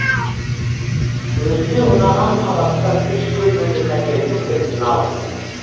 өзіме ұнаған қабаттан үш бөлмелі пәтердің кілтін алдым